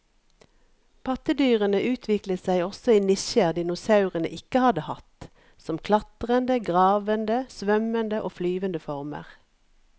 Pattedyrene utviklet seg også i nisjer dinosaurene ikke hadde hatt, som klatrende, gravende, svømmende og flyvende former.